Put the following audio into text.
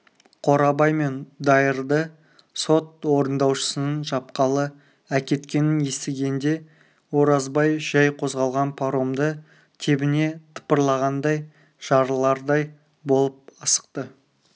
қорабай мен дайырды сот орындаушысының жапқалы әкеткенін естігенде оразбай жай қозғалған паромды тебіне тыпырлағандай жарылардай болып асықты